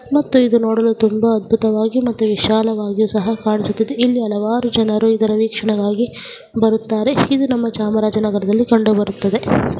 ಮತ್ತು ಇದು ನೋಡಲೂ ತುಂಬಾ ಅದ್ಭುತವಾಗಿ ವಿಶಾಲವಾಗಿಯೂ ಸಹ ಕಾಣಿಸುತ್ತಿದೆ ಇಲ್ಲಿ ಹಲವಾರು ಜನರು ಇದರ ವೀಕ್ಷಣೆಗಾಗಿ ಬರುತ್ತಾರೆ. ಇದು ನಮ್ಮ ಚಾಮರಾಜನಗರದಲ್ಲಿ ಕಂಡುಬರುತ್ತದೆ.